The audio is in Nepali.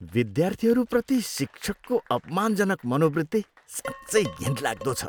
विद्यार्थीहरूप्रति शिक्षकको अपमानजनक मनोवृत्ति साँच्चै घिनलाग्दो छ।